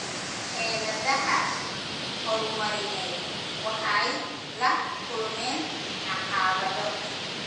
Xeeladaha horumarineed waxay la kulmeen caqabado.